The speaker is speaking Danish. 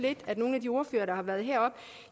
at nogle af de ordførere der har været heroppe